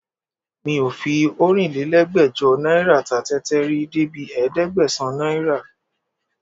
Mi ò fi ọ̀rinlélẹ́gbẹ́jọ náírà ta tẹ́tẹ́ rí débi ẹ̀ẹ́dẹ́gbẹ̀sán náírà